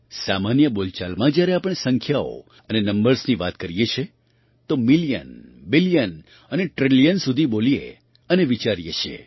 સામાન્ય બોલચાલમાં જ્યારે આપણે સંખ્યાઓ અને નંબર્સની વાત કરીએ છીએતો મિલિયન બિલિયન અને ટ્રિલિયન સુધી બોલીએ અને વિચારીએ છીએ